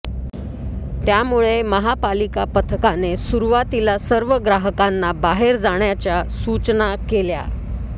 त्यामुळे महापालिका पथकाने सुरुवातीला सर्व ग्राहकांना बाहेर जाण्याच्या सूचना केल्या